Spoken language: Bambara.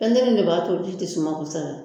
Pɛntiri de b'a to ji tɛ suma kosɛbɛ